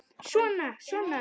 Svona. svona